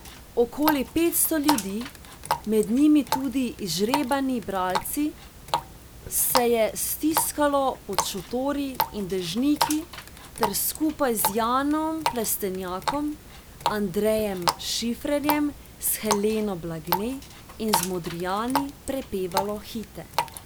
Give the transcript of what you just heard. Okoli petsto ljudi, med njimi tudi izžrebani bralci, se je stiskalo pod šotori in dežniki ter skupaj z Janom Plestenjakom, Andrejem Šifrerjem, s Heleno Blagne in z Modrijani prepevalo hite.